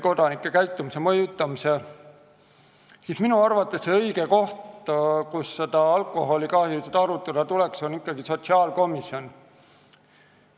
Seega on minu arvates õige koht, kus alkoholikahjusid arutada tuleks, ikkagi sotsiaalkomisjon.